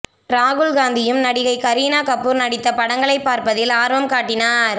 ராகுல் காந்தியும் நடிகை கரீனா கபூர் நடித்த படங்களை பார்ப்பதில் ஆர்வம் காட்டினார்